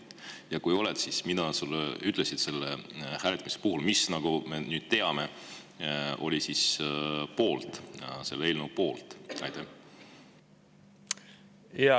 Ja kui oled, siis mida nad sulle ütlesid selle hääletuse puhul, mis, nagu me nüüd teame, oli selle eelnõu poolt?